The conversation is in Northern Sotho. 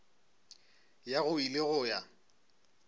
ya go ile go ya